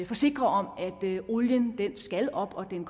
forsikre om at olien skal op og at den